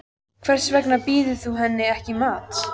Hvers vegna býður þú henni ekki í mat.